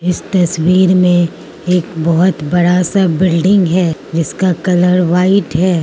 इस तस्वीर में एक बहोत बड़ा सा बिल्डिंग है जिसका कलर व्हाइट है।